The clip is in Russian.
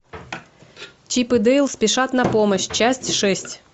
чип и дейл спешат на помощь часть шесть